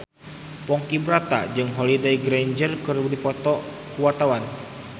Ponky Brata jeung Holliday Grainger keur dipoto ku wartawan